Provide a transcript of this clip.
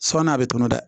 Sabanan a bɛ tɔnɔ dɛ